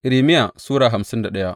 Irmiya Sura hamsin da daya